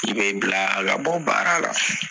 bila a ka bɔ baara la.